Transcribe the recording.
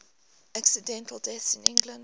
accidental deaths in england